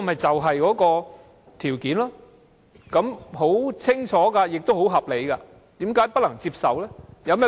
這項條件很清楚也很合理，為何不能接受？